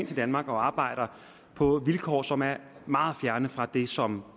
til danmark og arbejder på vilkår som er meget fjerne fra det som